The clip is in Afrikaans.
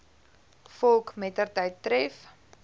volk mettertyd tref